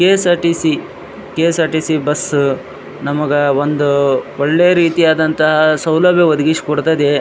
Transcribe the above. KSRTC KSRTC bus bus ನಮಗೆ ಒಂದು ಒಳ್ಳೆಯ ರೀತಿಯಾದ ಸೌಲಭ್ಯ ಒದಗಿಸಿ ಕೊಡುತ್ತದೆ .